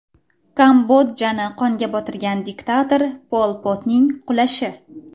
Kambodjani qonga botirgan diktator Pol Potning qulashi.